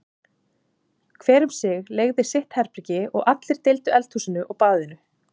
Hver um sig leigði sitt herbergi og allir deildu eldhúsinu og baðinu.